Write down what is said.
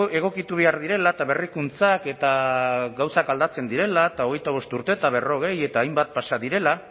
egokitu behar direla eta berrikuntzak eta gauzak aldatzen direla eta hogeita bost urte eta berrogei eta hainbat pasa direla